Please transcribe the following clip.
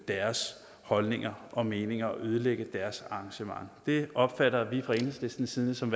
deres holdninger og meninger og ødelægge deres arrangement det opfatter vi fra enhedslistens side som